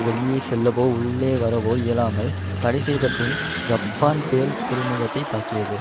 வெளியே செல்லவோ உள்ளே வரவோ இயலாமல் தடை செய்த பின் ஜப்பான் பேர்ள் துறைமுகத்தை தாக்கியது